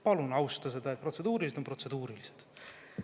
Palun austa seda, et protseduurilised on protseduurilised.